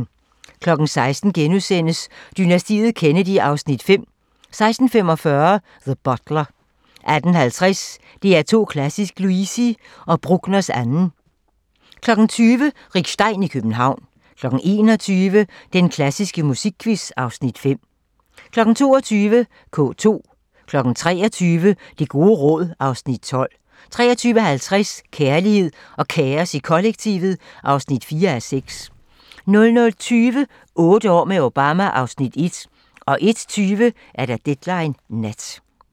16:00: Dynastiet Kennedy (Afs. 5)* 16:45: The Butler 18:50: DR2 Klassisk: Luisi & Bruckners 2. 20:00: Rick Stein i København 21:00: Den klassiske musikquiz (Afs. 5) 22:00: K2 23:00: Det gode råd (Afs. 12) 23:50: Kærlighed og kaos i kollektivet (4:6) 00:20: Otte år med Obama (Afs. 1) 01:20: Deadline Nat